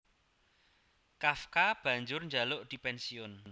Kafka banjur njaluk dipènsiyun